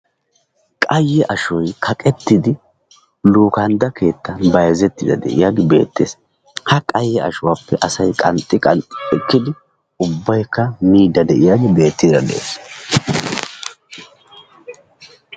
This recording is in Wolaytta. Qayye ashoy kaqettidi luukandda keettan bayzettiiddi de'iyagee beettes. Ha ashuwappe asay qanxxi qanxxi ekkidi ubbaykka miiddi de'iyagee beettiiddi de'ees.